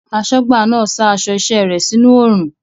Aṣọ́gbà náà sa aṣọ iṣẹ́ rẹ̀ sínú oòrùn